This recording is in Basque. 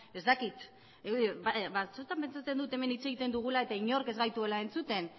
ez dakit batzuetan pentsatzen dut hemen hitz egiten dugula eta inork ez gaituela entzuten